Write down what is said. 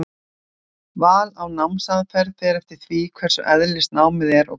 Val á námsaðferð fer eftir því hvers eðlis námið er og hvað á að læra.